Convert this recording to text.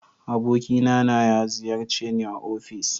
Abokina na ya ziyarce ni a ofis